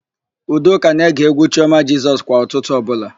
Udoka na-ege égwú Chiọma Jisọs kwa ụtụtụ ọbụla.